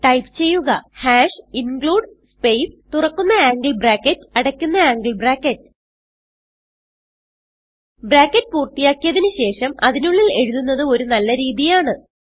type ചെയ്യുക includespace തുറക്കുന്ന angle bracket അടയ്ക്കുന്ന ആംഗിൾ ബ്രാക്കറ്റ് ബ്രാക്കറ്റ് പൂർത്തിയാക്കിയതിന് ശേഷം അതിനുള്ളിൽ എഴുതുന്നത് ഒരു നല്ല രീതിയാണ്